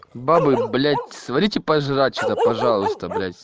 бабы блять сварите пожрать что-то пожалуйста блять